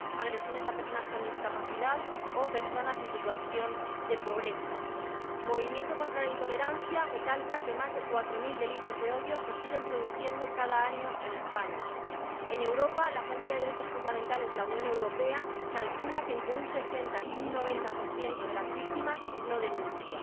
agresiones a personas con discapacidad o a personas en situación de pobreza. El Movimiento contra la Intolerancia recalca que más de cuatro mil delitos de odio se siguen produciendo cada año en España. En Europa, la Agencia de los Derechos Fundamentales de la Unión Europea calcula que entre un 60 y un 90 de las víctimas no denuncia.